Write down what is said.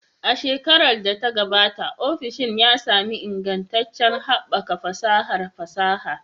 A shekarar da ta gabata, ofishin ya sami ingantaccen haɓaka fasahar fasaha.